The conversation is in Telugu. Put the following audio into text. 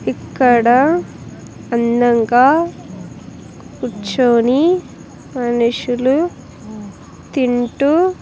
ఇక్కడ అందంగా కూర్చొని మనుషులు తింటూ--